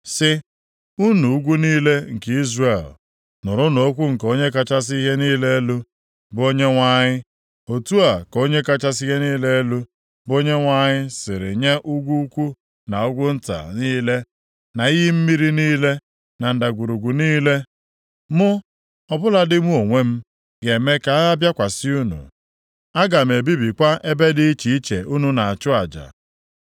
sị, ‘Unu ugwu niile nke Izrel, nụrụnụ okwu nke Onye kachasị ihe niile elu, bụ Onyenwe anyị. Otu a ka Onye kachasị ihe niile elu, bụ Onyenwe anyị sịrị nye ugwu ukwu na ugwu nta niile, na iyi mmiri niile, na ndagwurugwu niile. Mụ, ọ bụladị mụ onwe m, ga-eme ka agha bịakwasị unu, aga m ebibikwa ebe dị iche iche unu na-achụ aja.